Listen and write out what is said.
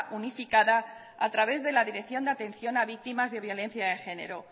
unificada a través de la dirección de atención a víctimas de violencia de género